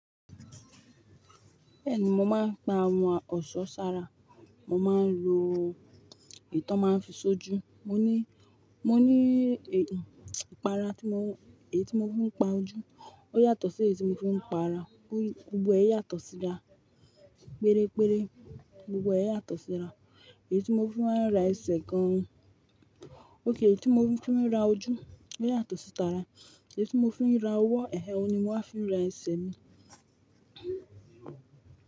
Bẹ́ẹ̀ni, mo máa ń pa àwọn ọ̀ṣọ́ sára. Mo máa ń lo ìtàn màá fi ṣojú. Mo ní, mo ní ìpara tí mo, èyí tí mo fi ń pa ojú. Ó yàtọ̀ sí èyí tí mo fi ń pa ara. Gbogbo ẹ̀ yàtọ̀ síra péré péré. Gbogbo ẹ̀ yàtọ̀ síra. Èyí tí mo fi máa ń ra ẹsẹ̀ gan. Ó kì, èyí tí mo fi ń ra ojú, ò yàtọ̀ sí t'ara. Èyí tí mo fi ń ra ọwọ́, ẹhẹ, ó ni mo máa fi ra ẹsẹ̀ mi.